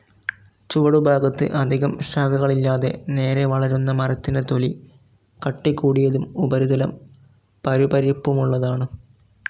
ചുവടുഭാഗത്തു അധികം ശാഖകളില്ലാതെ നേരെ വളരുന്ന മരത്തിൻ്റെ തൊലി കട്ടികൂടിയതും ഉപരിതലം പരുപരിപ്പുമുള്ളതുമാണ്.